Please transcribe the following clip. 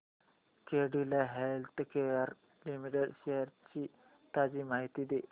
Cadila healthcare limited shares ची ताजी माहिती दे